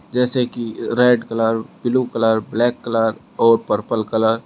जैसे की red colour blue colour black colour और पर्पल कलर ।